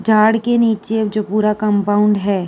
झाड़ के नीचे जो पूरा कम्पाउंड है।